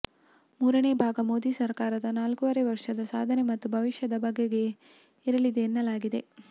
ಮೂರನೇ ಭಾಗ ಮೋದಿ ಸರ್ಕಾರದ ನಾಲ್ಕೂವರೆ ವರ್ಷದ ಸಾಧನೆ ಮತ್ತು ಭವಿಷ್ಯದ ಬಗೆಗೆ ಇರಲಿದೆ ಎನ್ನಲಾಗಿದೆ